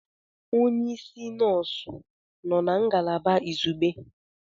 Onye isi nọọsụ nọ na ngalaba izugbe?